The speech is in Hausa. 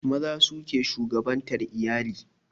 Maza su ke shugabantar iyali